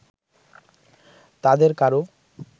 তাদের কারো